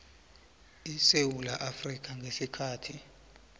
esewula afrika ngesikhathi